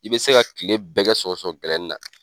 I bɛ se ka kile bɛɛ kɛ sɔgɔsɔgɔ gɛlɛnina.